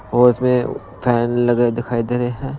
और इसमें फैन लगे दिखाई दे रहे हैं।